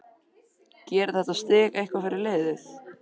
Gerir þetta stig eitthvað fyrir liðið?